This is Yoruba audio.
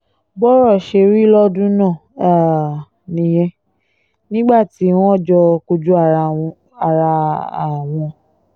bọ́rọ̀ ṣe rí lọ́dún náà um nìyẹn nígbà tí wọ́n jọ kojú ara um wọn